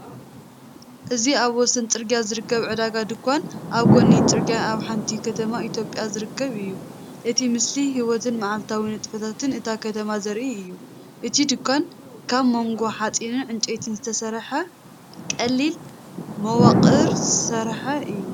እዚ ኣብ ወሰን ጽርግያ ዝርከብ ዕዳጋ (ድኳን) ኣብ ጐድኒ ጽርግያ ኣብ ሓንቲ ከተማ ኢትዮጵያ ዝርከብ እዩ። እቲ ምስሊ ህይወትን መዓልታዊ ንጥፈታትን እታ ከተማ ዘርኢ እዩ። እቲ ድኳን ካብ ሞገድ ሓጺንን ዕንጨይትን ዝተሰርሐ ቀሊል መዋቕር ዝተሰርሐ እዩ።